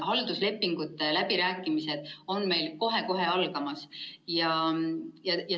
Halduslepingute läbirääkimised on meil kohe-kohe algamas.